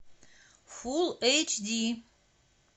фул эйч ди